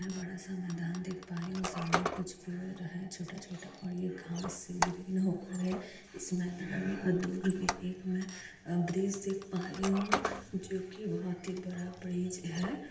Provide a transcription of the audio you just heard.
मै बड़ा सा मैदान देख प रही हु सामने कुछ पेड़ है छोटा-छोटा घास इसमे दूर मे एक ब्रिज देख पा रही हु जो की बहुत ही बड़ा ब्रिज है।